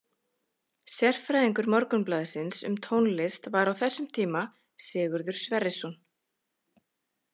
Sérfræðingur Morgunblaðsins um tónlist var á þessum tíma Sigurður Sverrisson.